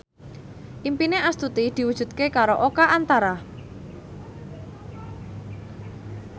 impine Astuti diwujudke karo Oka Antara